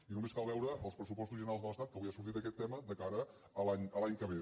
i només cal veure els pressupostos generals de l’estat que avui ha sortit aquest tema de cara a l’any que ve